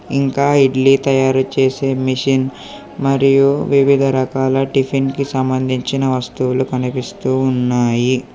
ఇంకా ఇడ్లీ తయారు చేసే మిషిన్ మరియు వివిధ రకాల టిఫిన్ కి సంబంధించిన వస్తువులు కనిపిస్తూ ఉన్నాయి.